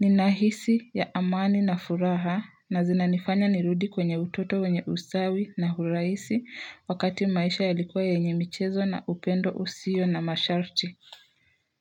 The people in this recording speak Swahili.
nina hisia ya amani na furaha na zinanifanya nirudi kwenye utoto wenye usawi na uraisi wakati maisha yalikua yenye michezo na upendo usio na masharti.